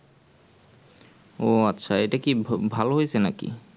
আচ্ছা এটাকি ভা ভালো হয়েছে নাকি